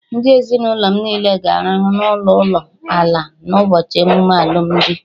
Ndị ezinụlọ m niile ga-arahụ n'ụlọ ụlọ ala na ụbọchị emume alụmdi